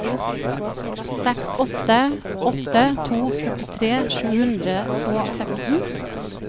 seks åtte åtte to førtitre sju hundre og seksten